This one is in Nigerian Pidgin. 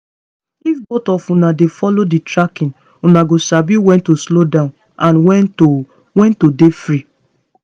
if both of una dey follow the tracking una go sabi when to slow down and when to when to dey free